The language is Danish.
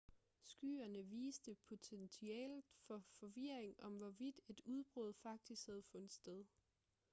skyerne viste potentialet for forvirring om hvorvidt et udbrud faktisk havde fundet sted